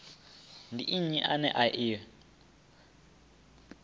ndi nnyi ane a i